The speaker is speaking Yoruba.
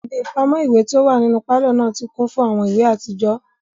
Ibi ipamọ iwe ti o wa ninu palọ naa ti kun fun awọn iwe atijọ